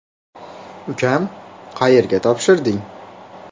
- Ukam, qayerga topshirding?